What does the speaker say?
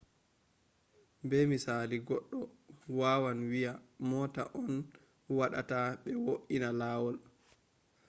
be misali goɗɗo wawan wiya mota on waɗata ɓe wo’ina lawol